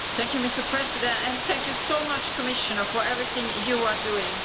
Mr President, thank you so much, Commissioner, for everything you are doing.